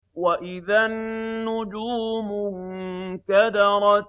وَإِذَا النُّجُومُ انكَدَرَتْ